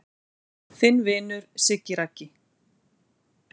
Þinn vinur Siggi Raggi